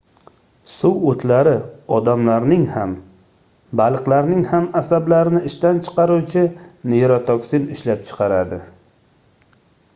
suvoʻtlari odamlarning ham baliqlarning ham asablarini ishdan chiqaruvchi neyrotoksin ishlab chiqaradi